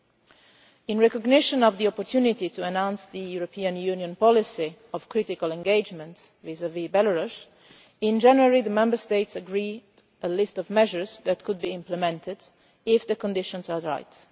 In January, in recognition of the opportunity to announce the European Union policy of critical engagement vis a vis Belarus, the Member States agreed a list of measures that could be implemented if the conditions were right.